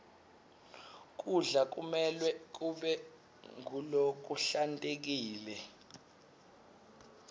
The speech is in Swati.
kudla kumelwe kube ngulokuhlantekile